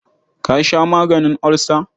Ka sha maganin olsa.